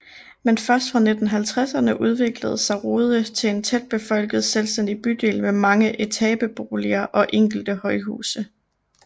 Men først fra 1950ern udviklede sig Rude til en tæt befolket selvstændig bydel med mange etabeboliger og enkelte højhuse